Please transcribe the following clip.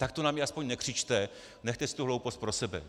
Tak to na mě aspoň nekřičte, nechte si tu hloupost pro sebe.